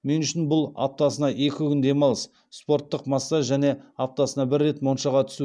мен үшін бұл аптасына екі күн демалыс спорттық массаж және аптасына бір рет моншаға түсу